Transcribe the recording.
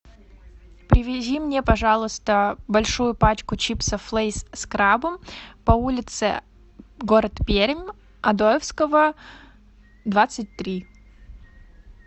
привези мне пожалуйста большую пачку чипсов лейс с крабом по улице город пермь одоевского двадцать три